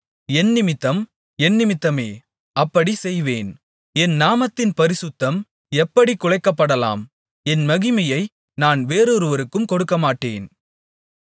என்னிமித்தம் என்னிமித்தமே அப்படிச் செய்வேன் என் நாமத்தின் பரிசுத்தம் எப்படிக் குலைக்கப்படலாம் என் மகிமையை நான் வேறொருவருக்கும் கொடுக்கமாட்டேன்